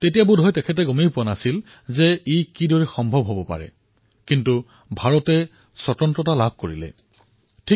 বোধহয় তেওঁও তেতিয়া ভবা নাছিল যেএয়া কিদৰে হব কিন্তু এয়া হল ভাৰতে স্বতন্ত্ৰতা পালে